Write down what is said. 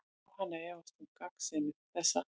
Jóhanna efast um gagnsemi þessa.